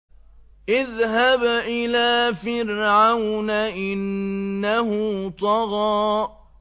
اذْهَبْ إِلَىٰ فِرْعَوْنَ إِنَّهُ طَغَىٰ